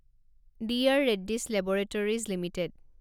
DR Reddy's laboratories limited